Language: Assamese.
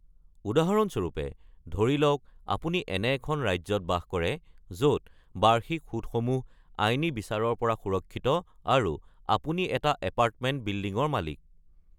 উদাহৰণস্বৰূপে, ধৰি লওক আপুনি এনে এখন ৰাজ্যত বাস কৰে য’ত বাৰ্ষিক সূদসমূহ আইনী বিচাৰৰ পৰা সুৰক্ষিত আৰু আপুনি এটা এপাৰ্টমেণ্ট বিল্ডিঙৰ মালিক।